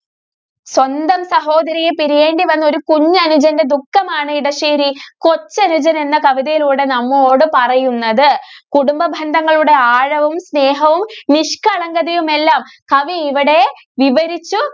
സ്വന്തം സഹോദരിയെ പിരിയേണ്ടി വന്നൊരു കുഞ്ഞനുജന്റെ ദുഃഖമാണ് ഇടശ്ശേരി കൊച്ചനുജന്‍ എന്ന കവിതയിലൂടെ നമ്മോടു പറയുന്നത്. കുടുംബ ബന്ധങ്ങളുടെ ആഴവും, സ്നേഹവും, നിഷ്കളങ്കതയുമെല്ലാം കവി ഇവിടെ വിവരിച്ചു